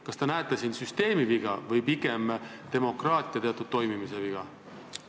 Kas te näete siin süsteemi viga või pigem demokraatia toimimise puudujääki?